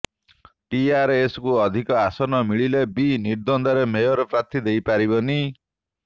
ଟିଆରଏସକୁ ଅଧିକ ଆସନ ମିଳିଥିଲେ ବି ନିର୍ଦ୍ୱନ୍ଦରେ ମେୟର ପ୍ରାର୍ଥୀ ଦେଇ ପାରିବନି